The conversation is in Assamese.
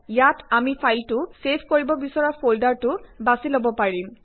ইয়াত আমি ফাইলটো ছেভ কৰিব বিছৰা ফল্ডাৰটো বাছি লব পাৰিম